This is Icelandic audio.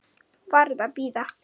Varð að bíða.